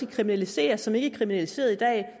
kriminaliseres som ikke er kriminaliseret i dag